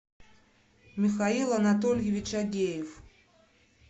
михаил анатольевич агеев